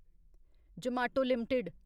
Zomato limited